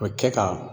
O kɛ ka